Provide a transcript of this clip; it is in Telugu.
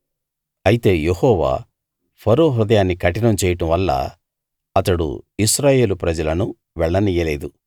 అయితే యెహోవా ఫరో హృదయాన్ని కఠినం చేయడం వల్ల అతడు ఇశ్రాయేలు ప్రజలను వెళ్ళనియ్యలేదు